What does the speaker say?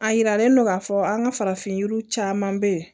A yiralen don k'a fɔ an ka farafin yiriw caman bɛ yen